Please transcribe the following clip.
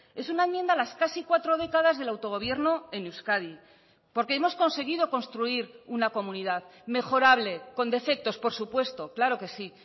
es una enmienda a las casi cuatro décadas del autogobierno en euskadi porque hemos conseguido construir una comunidad mejorable con defectos por supuesto claro que sí